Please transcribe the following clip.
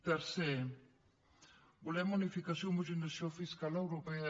tercer volem unificació i homogeneïtzació fiscal europea